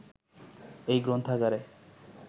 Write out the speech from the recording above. এই গ্রন্থাগারে